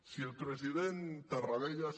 si el president tarradellas